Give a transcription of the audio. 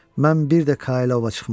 Mən bir də Kaya ova çıxmaram.